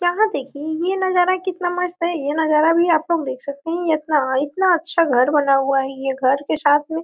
यहां देखियेयह नजारा कितना मस्त है। यह नजारा भी आप लोग देख सकते है इतना इतना अच्छा घर बना हुआ है। यह घर के साथ में--